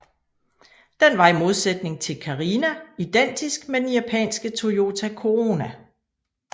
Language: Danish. Den var i modsætning til Carina identisk med den japanske Toyota Corona